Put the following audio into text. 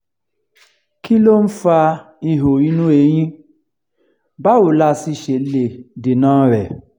kí ló ń fa iho inú eyín báwo la sì ṣe lè deena re